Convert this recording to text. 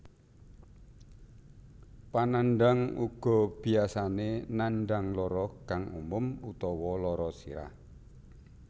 Panandhang uga biyasane nandhang lara kang umum utawa lara sirah